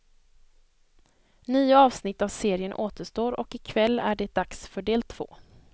Nio avsnitt av serien återstår och i kväll är det dags för del två.